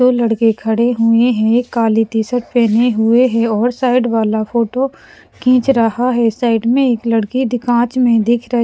दो लड़के खड़े हुए हैं एक काली टीशर्ट पहने हुए हैंऔर साइड वाला फोटो खींच रहा है साइड में एक लड़की दिखांच में दिख रहा है।